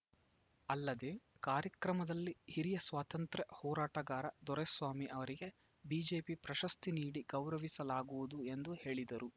ಅಲ್ಲದೆ ಕಾರ್ಯಕ್ರಮದಲ್ಲಿ ಹಿರಿಯ ಸ್ವಾತಂತ್ರ್ಯ ಹೋರಾಟಗಾರ ದೊರೆಸ್ವಾಮಿ ಅವರಿಗೆ ಬಿಜೆಪಿ ಪ್ರಶಸ್ತಿ ನೀಡಿ ಗೌರವಿಸಲಾಗುವುದು ಎಂದು ಹೇಳಿದರು